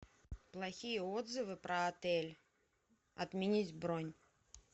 плохие отзывы про отель отменить бронь